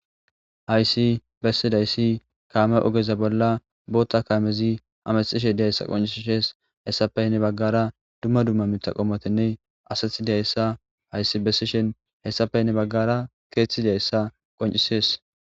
Haysi besidaysi kame oge bolla bota kanezi hametishe de'izaysa qoncises hesafe hen bagara Dumma dumma maatati qommotinne asati de'izaysa haysi beshishen haysafe hen bagara kethi de'izaysa qoncises